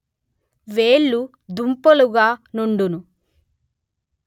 వేళ్ళు దుంపులుగా నుండును